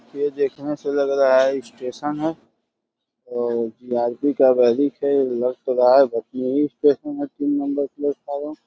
ये देखने से लग रहा है स्टेशन है और जीआरपी का है लग तो रहा है भटनी ही स्टेशन है तीन नंबर प्लेटफार्म --